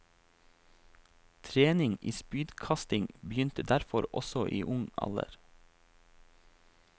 Trening i spydkasting begynte derfor også i ung alder.